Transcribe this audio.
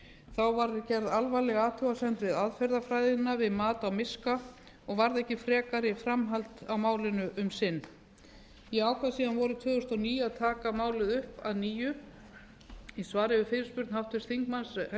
þá var gerð alvarleg athugasemd við aðferðafræðina við mat á miska og varð ekki frekari framhald á málinu um sinn ég ákvað síðan vorið tvö þúsund og níu að taka málið upp að nýju á svari við fyrirspurn háttvirts þingmanns helga hjörvars á